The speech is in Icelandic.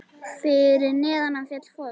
Fyrir neðan hann féll foss.